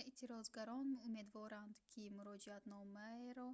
эътирозгарон умедворанд ки муроҷиатномаеро